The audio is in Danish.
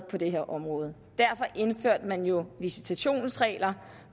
på det her område derfor indførte man jo visitationsregler